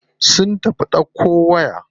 Sun tafi ɗauko waya.